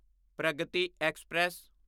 Pragati express